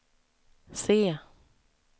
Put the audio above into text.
se